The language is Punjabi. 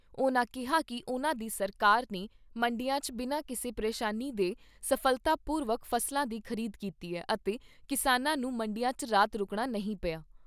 ਉਨ੍ਹਾਂ ਕਿਹਾ ਕਿ ਉਨ੍ਹਾਂ ਦੀ ਸਰਕਾਰ ਨੇ ਮੰਡੀਆਂ 'ਚ ਬਿਨਾਂ ਕਿਸੇ ਪ੍ਰੇਸ਼ਾਨੀ ਦੇ ਸਫ਼ਲਤਾ ਪੂਰਵਕ ਫ਼ਸਲਾਂ ਦੀ ਖ਼ਰੀਦ ਕੀਤੀ ਐ ਅਤੇ ਕਿਸਾਨਾਂ ਨੂੰ ਮੰਡੀਆਂ 'ਚ ਰਾਤ ਰੁਕਣਾ ਨਹੀਂ ਪਿਆ।